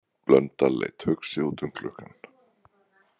Blöndal leit hugsi út um gluggann.